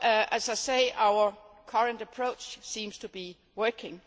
As I said, our current approach seems to be working.